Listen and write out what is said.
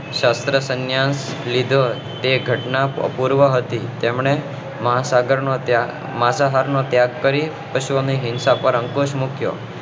છત્રસૈન્ય લીધો ઘટના પૂર્વ હતી તેમને મહાસાગર નો ત્યાગ માતા હાર નો ત્યાગ કરી અશ્વમેઘ હિંસા પર અંકુશ મુક્યો